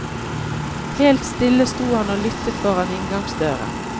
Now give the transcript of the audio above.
Helt stille sto han og lyttet foran inngangsdøra.